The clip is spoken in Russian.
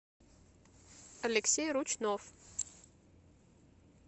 алексей ручнов